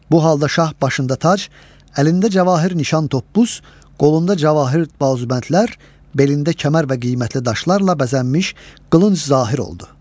Bu halda şah başında tac, əlində cəvahiri nişan tobus, qolunda cəvahiri balzibəndlər, belində kəmər və qiymətli daşlarla bəzənmiş qılıncı zahir oldu.